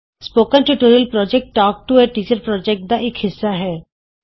spoken tutorial project talk to a teacher project ਦਾ ਇਕ ਹਿੱਸਾ ਹੈ